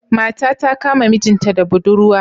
Mata ta Kama mijinta da buɗurwa.